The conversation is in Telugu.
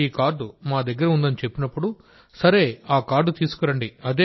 ఈ కార్డు మాదగ్గర ఉందని చెప్పినప్పుడుసరే ఆ కార్డు తీసుకురండి